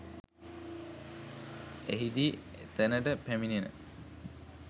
එහිදී එතනට පැමිණෙන